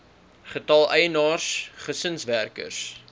getal eienaars gesinswerkers